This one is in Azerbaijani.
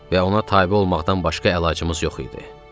Və ona tabe olmaqdan başqa əlacımız yox idi.